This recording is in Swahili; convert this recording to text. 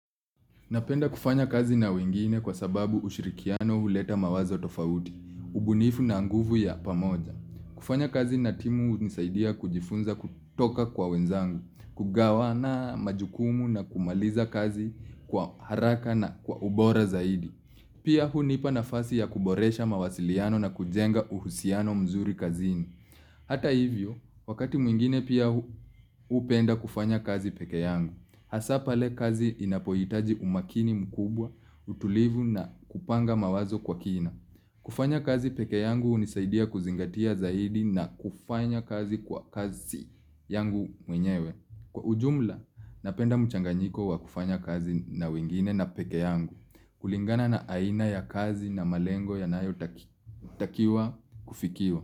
Napenda kufanya kazi na wengine kwa sababu ushirikiano huleta mawazo tofauti, ubunifu na nguvu ya pamoja. Kufanya kazi na timu hunisaidia kujifunza kutoka kwa wenzangu, kugawana majukumu na kumaliza kazi kwa haraka na kwa ubora zaidi. Pia hunipa nafasi ya kuboresha mawasiliano na kujenga uhusiano mzuri kazini. Hata hivyo, wakati mwingine pia hupenda kufanya kazi peke yangu, hasa pale kazi inapohitaji umakini mkubwa, utulivu na kupanga mawazo kwa kina. Kufanya kazi peke yangu hunisaidia kuzingatia zaidi na kufanya kazi kwa kasi yangu mwenyewe. Kwa ujumla, napenda mchanganyiko wa kufanya kazi na wengine na peke yangu, kulingana na aina ya kazi na malengo yanayotakiwa kufikiwa.